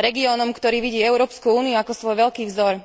regiónom, ktorý vidí Európsku úniu ako svoj veľký vzor.